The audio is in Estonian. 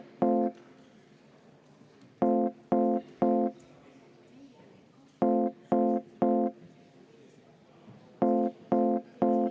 Nüüd palun, Siim Pohlak!